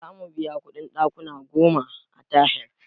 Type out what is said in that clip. Zamu biya kuɗin ɗakuna goma a tahir